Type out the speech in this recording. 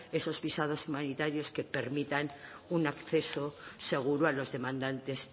esos visados humanitarios que permitan un acceso seguro a los demandantes